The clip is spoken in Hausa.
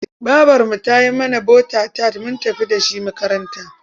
Babarmu ta yi mana bota-tat mun tafi da shi makaranta.